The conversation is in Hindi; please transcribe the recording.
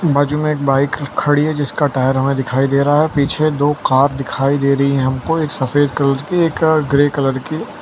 बाजू में एक बाइक खड़ी है जिसका टायर हमें दिखाई दे रहा है पीछे दो कार दिखाई दे रही है हमको एक सफेद कलर की एक ग्रे कलर की --